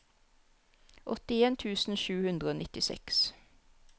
åttien tusen sju hundre og nittiseks